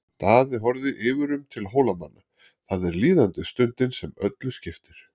Daði horfði yfirum til Hólamanna,-það er líðandi stundin sem öllu skiptir.